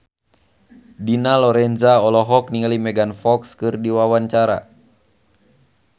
Dina Lorenza olohok ningali Megan Fox keur diwawancara